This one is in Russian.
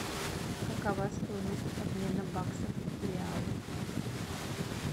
какова стоимость обмена баксов в реалы